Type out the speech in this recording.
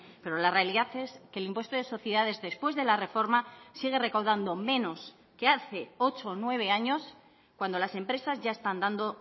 pero la realidad es que el impuesto de sociedades después de la reforma sigue recaudando menos que hace ocho o nueve años cuando las empresas ya están dando